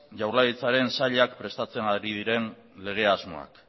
jaurlaritzaren sailek prestatzen ari diren lege asmoak